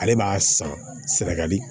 Ale b'a san sɛnɛgali